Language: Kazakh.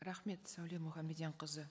рахмет сәуле мұханбедианқызы